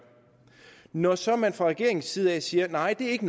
når så man fra regeringens side siger at det ikke